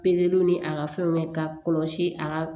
Pezeliw ni a ka fɛnw mɛn ka kɔlɔsi a ka